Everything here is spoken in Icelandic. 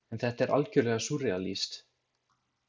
En þetta er algjörlega súrrealískt.